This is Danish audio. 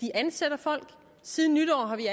at ansætte folk siden nytår har vi